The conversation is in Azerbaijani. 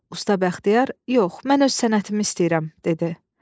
Usta Bəxtiyar: "Yox, mən öz sənətimi istəyirəm," dedi.